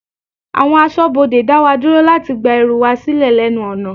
Àwọn aṣọbode dá wa dúró láti gba ẹrù wa silẹ lẹ́nu ọ̀nà.